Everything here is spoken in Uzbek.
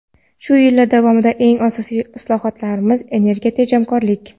Shu yillar davomida eng asosiy islohotimiz – energiya tejamkorlik.